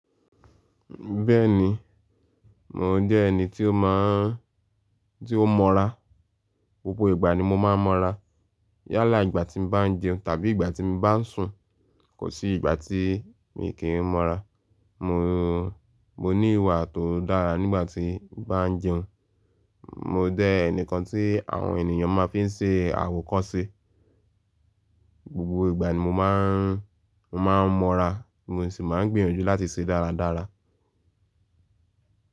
Bẹ́ẹ̀ni, mò jẹ́ ẹni tí ó mọ́ra, gbogbo ìgbà ni mo máa ń mọ́ra. Yálà ìgbà tí n bá ń jẹun tàbí ìgbà tí n mi bá ń sùn, kò sí ìgbà tí mi kí ń mọ́ra. Mo ní ìwà tó dára nígbà tí bá ń jẹun. Mò jẹ́ ẹnìkan tí àwọn ènìyàn fi máa ń ṣe àwòkọ́se. Gbọ̀ ìgbà ni mo máa ń mọ́ra, mo sì máa ń gbinyaju láti ṣe dáradára.